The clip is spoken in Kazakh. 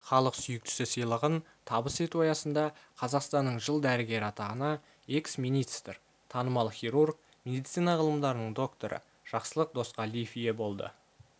халық сүйіктісі сыйлығын табыс ету аясында қазақстанның жыл дәрігері атағына экс-министр танымал іирург медицина ғылымдарының докторы жақсылық досқалиев ие болды